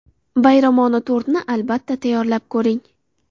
Bayramona tortni, albatta, tayyorlab ko‘ring.